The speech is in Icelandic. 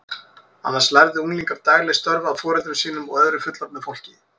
Annars lærðu unglingar dagleg störf af foreldrum sínum og öðru fullorðnu fólki.